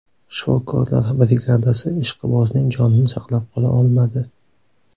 Shifokorlar brigadasi ishqibozning jonini saqlab qola olmadi.